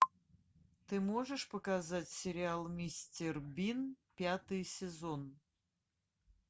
ты можешь показать сериал мистер бин пятый сезон